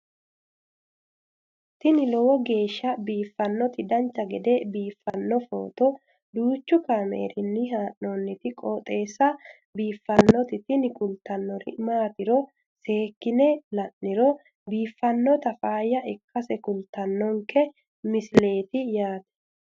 tini lowo geeshsha biiffannoti dancha gede biiffanno footo danchu kaameerinni haa'noonniti qooxeessa biiffannoti tini kultannori maatiro seekkine la'niro biiffannota faayya ikkase kultannoke misileeti yaate